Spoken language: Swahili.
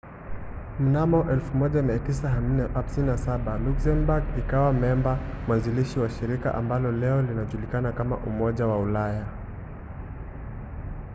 mnamo 1957 luxembourg ikawa memba mwanzilishi wa shirika ambalo leo linajulikana kama umoja wa ulaya